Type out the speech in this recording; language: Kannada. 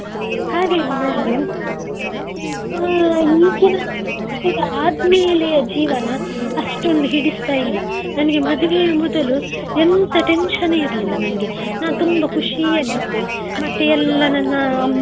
ಹಾಗಾಗಿ ನನ್ಗೆ ಅ ಈಗಿನ ಮದುವೆ ಆದ್ಮೇಲೆ ಜೀವನ ಅಷ್ಟೊಂದು ಹಿಡಿಸ್ತಾ ಇಲ್ಲ. ನನ್ಗೆ ಮದುವೆಯ ಮೊದಲು ಎಂಥ tension ಇರ್ಲಿಲ್ಲ ನನ್ಗೆ ನಾನು ತುಂಬಾ ಖುಷಿಯಲ್ಲಿ ಇದ್ದೆ ಮತ್ತೆ ಎಲ್ಲಾ ನನ್ನ ಅಮ್ಮ.